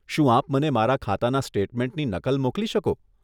શું આપ મને મારા ખાતાના સ્ટેટમેન્ટની નકલ મોકલી શકો?